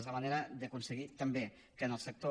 és la manera d’aconseguir també que en el sector